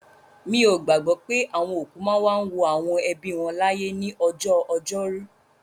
Mi ò gbàgbọ́ pé àwọn òkú máa ń wá wo àwọn ẹbí wọn láyè ní ọjọ́ Ọjọ́rú.